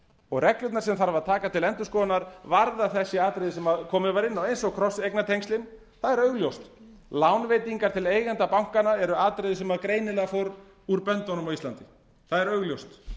og reglurnar sem þarf að taka til endurskoðunar varðar þessi atriði sem komið var inn á eins og krosseignatengslin það er augljóst lánveitingar til eigenda bankanna eru atriði sem greinilega fór úr böndunum á íslandi það er augljóst